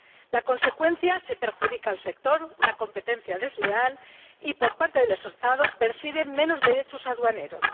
La consecuencia se perjudica al sector, una competencia desleal y, por parte de los Estados, se perciben menos derechos aduaneros.